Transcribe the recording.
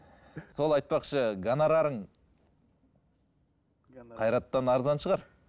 сол айтпақшы гонорарың қайраттан арзан шығар